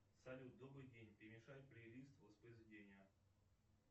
салют добрый день перемешай плейлист воспроизведения